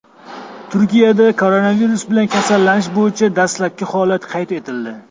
Turkiyada koronavirus bilan kasallanish bo‘yicha dastlabki holat qayd etildi.